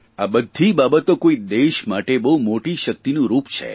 આ બધી બાબતો કોઇ દેશ માટે બહુ મોટી શકિતનું રૂપ છે